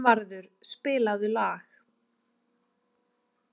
Finnvarður, spilaðu lag.